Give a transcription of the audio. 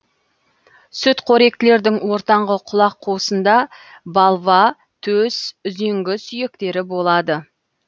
сүтқоректілердің ортаңғы құлақ қуысында балва төс үзеңгі сүйектері болады